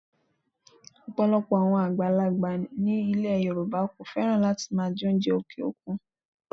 Ọ̀pọ̀lọpọ̀ àwọn àgbàlagbà ni ilẹ̀ Yorùbá kò fẹ́ràn láti máa jẹ oúnjẹ òkè òkun